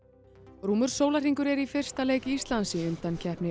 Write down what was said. rúmur sólarhringur er í fyrsta leik Íslands í undankeppni